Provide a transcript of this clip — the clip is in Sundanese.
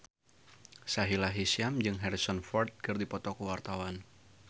Sahila Hisyam jeung Harrison Ford keur dipoto ku wartawan